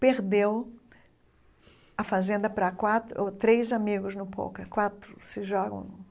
Perdeu a fazenda para quatro ou três amigos no Pouca quatro.